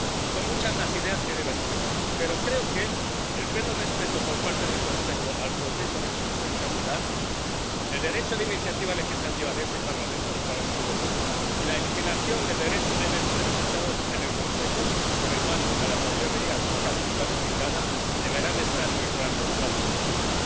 Son muchas las ideas que debatiremos, pero creo que el pleno respeto por parte del Consejo al proceso del Spitzenkandidat el derecho de iniciativa legislativa de este Parlamento, del Parlamento Europeo, y la eliminación del derecho de veto de los Estados en el Consejo, con el paso a la mayoría cualificada, deberán estar en el corazón de las discusiones.